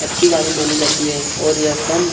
अच्छी गाड़ी मानी जाती है और यह कम --